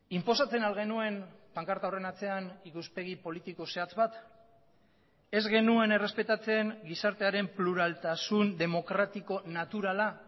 inposatzen al genuen pankarta horren atzean ikuspegi politiko zehatz bat ez genuen errespetatzen gizartearen pluraltasun demokratiko naturala